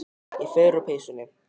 Ég fer úr peysunni.